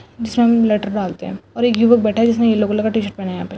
--जिसमे हम लेटर डालते है और एक युवक बैठा है जिसने येल्लो कलर का टी शर्ट पेहना है यहां पे।